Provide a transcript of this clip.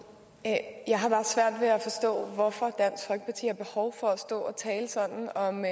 at stå og og tale sådan om